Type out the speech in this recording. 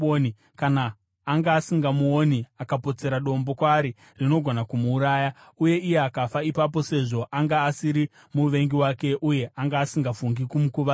kana anga asingamuoni, akapotsera dombo kwaari rinogona kumuuraya, uye iye akafa, ipapo sezvo anga asiri muvengi wake uye anga asingafungi kumukuvadza,